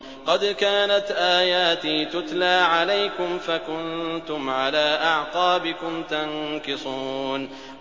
قَدْ كَانَتْ آيَاتِي تُتْلَىٰ عَلَيْكُمْ فَكُنتُمْ عَلَىٰ أَعْقَابِكُمْ تَنكِصُونَ